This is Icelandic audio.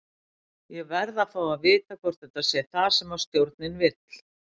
Ég verð að fá að vita hvort þetta sé það sem stjórinn vill?